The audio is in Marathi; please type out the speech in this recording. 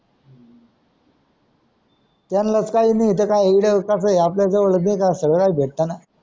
त्यानलाच काही नाही त काय आपल्या जावळ नाहीका सगडाच भेट ना